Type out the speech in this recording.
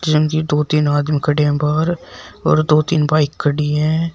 दो तीन आदमी खड़े हैं बाहर और दो तीन बाइक खड़ी हैं।